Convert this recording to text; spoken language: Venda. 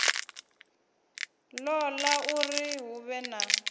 ṱoḓa uri hu vhe na